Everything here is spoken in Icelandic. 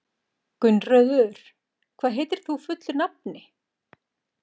Gunnröður, hvað heitir þú fullu nafni?